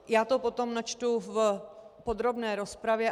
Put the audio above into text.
Já to potom načtu v podrobné rozpravě.